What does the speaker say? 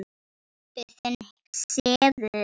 Pabbi þinn sefur.